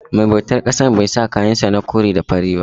Mai bautar ƙasan bai sa kayan sa na kore da fari ba.